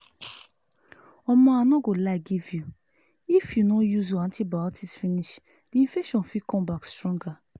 omo i no go lie give you if you no use your antibotics finish the infection fit come back stronger